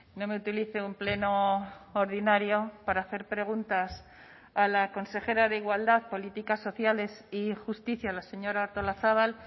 no me utilice un pleno ordinario para hacer preguntas a la consejera de igualdad políticas sociales y justicia la señora artolazabal